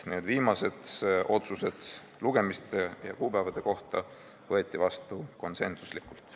Need viimased otsused lugemiste ja kuupäevade kohta võeti vastu konsensuslikult.